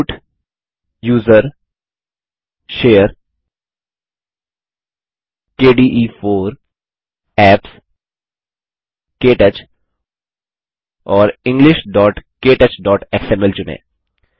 root gtusr gtshare gtkde4 gtapps जीटीकेटच और englishktouchएक्सएमएल चुनें